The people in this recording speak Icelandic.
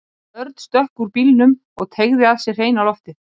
Örn stökk út úr bílnum og teygaði að sér hreina loftið.